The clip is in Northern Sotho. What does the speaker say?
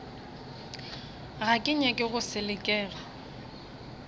ga ke nyake go selekega